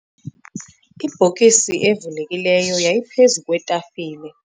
ibhokisi evulekileyo yayiphezu kwetafile